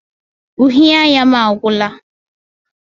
Uhie anya m agwụla.